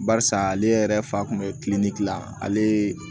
Barisa ale yɛrɛ fa kun bɛ kiliniki dilan ale